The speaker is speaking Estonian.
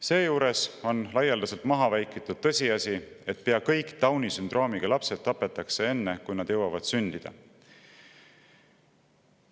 Seejuures on laialdaselt maha vaikitud tõsiasi, et pea kõik Downi sündroomiga lapsed tapetakse enne, kui nad jõuavad sündida.